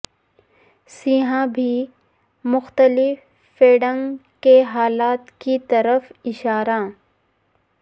سیاح بھی مختلف فیڈنگ کے حالات کی طرف اشارہ